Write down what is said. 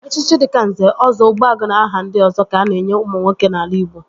Echichi dịka Nze, Ọzọ, Ogbuagu na aha ndị ọzọ ka a na-enye ụmụ nwoke n'ala Ịgbo